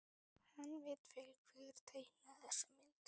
Hann veit vel hver teiknaði þessa mynd.